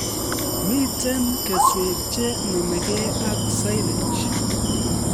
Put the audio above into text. Mitei keswek che nomegei ak silage